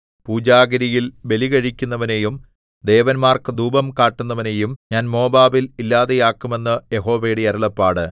പൂജാഗിരിയിൽ ബലികഴിക്കുന്നവനെയും ദേവന്മാർക്കു ധൂപം കാട്ടുന്നവനെയും ഞാൻ മോവാബിൽ ഇല്ലാതെയാക്കും എന്ന് യഹോവയുടെ അരുളപ്പാട്